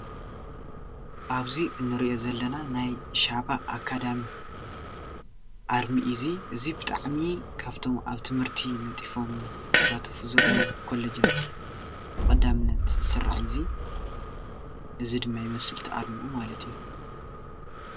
ኣብዚ እንሪኦ ዘለና ናይ ሸባ ኣካዳሚ ኣርሚ እዩ እዙይ። እዙይ ብጣዕሚ ካብቶም ኣብ ትምህርቲ ነጢፎም ዝስተፉ ዘለው ኮሌጃት ብቀዳምነት ዝስራዕ እዩ። እዙይ ድማ ይመስል እቲ ኣርሙኡ ማለት እዩ ።